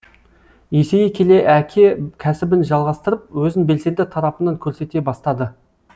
есейе келе әке кәсібін жалғастырып өзін белсенді тарапынан көрсете бастады